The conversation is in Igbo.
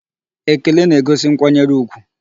Ekele na-egosi nkwanyere ugwu.